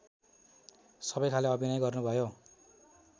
सबैखाले अभिनय गर्नुभयो